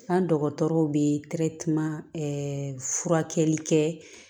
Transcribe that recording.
An dɔgɔtɔrɔw bɛ furakɛli kɛ